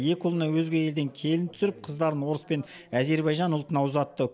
екі ұлына өзге елден келін түсіріп қыздарын орыс пен әзербайжан ұлтына ұзатты